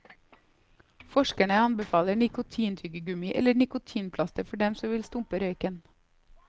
Forskerne anbefaler nikotintyggegummi eller nikotinplaster for dem som vil stumpe røyken.